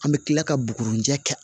An bɛ tila ka bugurunjɛ kɛ